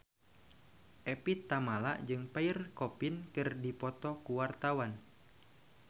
Evie Tamala jeung Pierre Coffin keur dipoto ku wartawan